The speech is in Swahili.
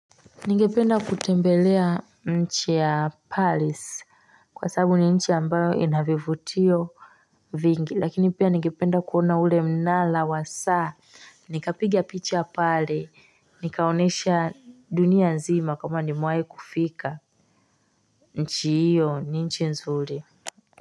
Ningependa kutembelea nchi ya palace kwa sababu ni nchi ambayo inavivutio vingi lakini pia ningependa kuona ule mnara wa saa Nikapigia picha ya pale nikaonyesha dunia nzima kama ni mewahikufika nchi hiyo ni nchi nzuri.